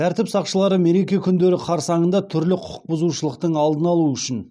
тәртіп сақшылары мереке күндері қарсаңында түрлі құқық бұзушылықтың алдын алу үшін